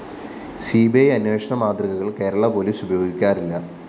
C B I അന്വേഷണമാതൃകകള്‍ Kerala police ഉപയോഗിക്കാറില്ല